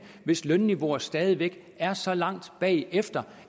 hvis lønniveauer stadig væk er så langt bagefter